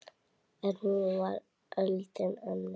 En nú var öldin önnur.